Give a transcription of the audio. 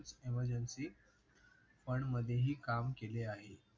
Emergency पण मध्येही काम केले आहे.